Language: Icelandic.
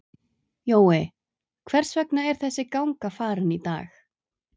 Jói, hvers vegna er þessi ganga farin í dag?